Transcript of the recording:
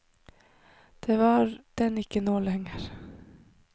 Det var den ikke nå lenger.